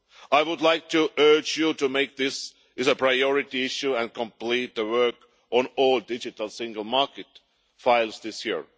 I would like to urge you to make this a priority issue and complete the work on all digital single market files this year.